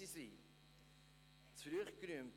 () Ich habe die Ruhe zu früh gerühmt.